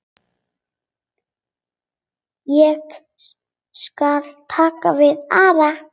Ég skal taka við Ara.